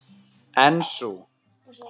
En sú